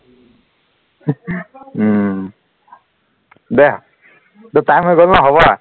উম দিয়া এতিয়া time হৈ গল ন হব আৰু